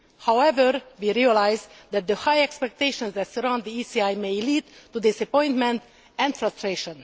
However, we realise that the high expectations that surround the ECI may lead to disappointment and frustration.